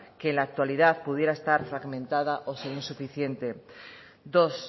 que en la actualidad pudiera estar fermentada o ser insuficiente dos